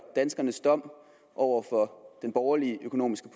danskernes dom over den borgerlige økonomiske